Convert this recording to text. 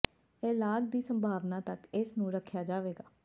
ਇਹ ਲਾਗ ਦੀ ਸੰਭਾਵਨਾ ਤੱਕ ਇਸ ਨੂੰ ਰੱਖਿਆ ਜਾਵੇਗਾ